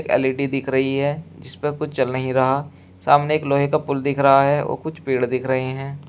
L E D दिख रही है जिसपे कुछ चल नहीं रहा सामने एक लोहे का पुल दिख रहा है और कुछ पेड़ दिख रहे हैं।